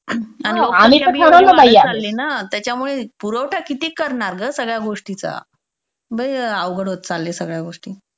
विनाश चालली ना त्यामुळे पुरवठा किती करणार गं सगळ्या गोष्टीचा लई अवघड होत चालल्या सगळ्या गोष्टी.